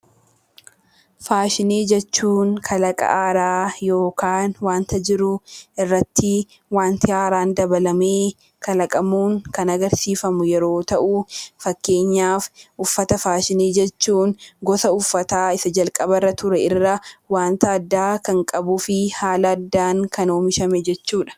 Faashinii jechuun kalaqa haaraa yookaan wanta jiru irratti wanti haaraan dabalamee kalaqamuun ksn agarsiifamu yeroo ta'u, fakkeenyaaf uffata faashinii jechuun gosa uffata isa jalqaba ture irraa wantq addaa kan qabuu fi haala addaan kan oomishame jechuu dha.